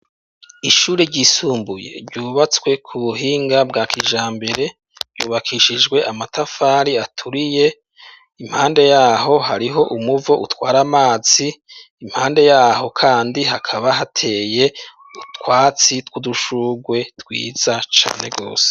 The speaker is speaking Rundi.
Ishure ryisumbuye ryubatswe ku buhinga bwa kijambere ryubakishijwe amatafari aturiye, impande y'aho hariho umuvo utwara amazi, impande y'aho kandi hakaba hateye utwatsi tw'udushugwe twiza cane gose.